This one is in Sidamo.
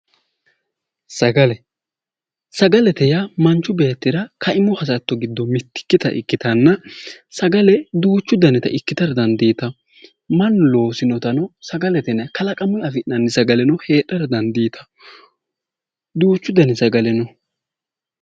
Sagale, sagalete yaa manchu beettira kaimu hasatto giddo mittikkita ikkitanna, sagale duuchu danita ikiktara dandiitawo. mannu loosinotano sagalete yinayi. kalaqamunni afi'nanni sagaleno heedhara dandiitawo. duuchu dani sagale no.